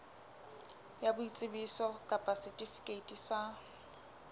ya boitsebiso kapa setifikeiti sa